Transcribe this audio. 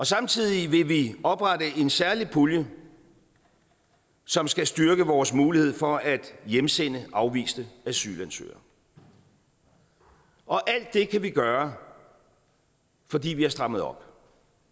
samtidig vil vi oprette en særlig pulje som skal styrke vores mulighed for at hjemsende afviste asylansøgere og alt det kan vi gøre fordi vi har strammet op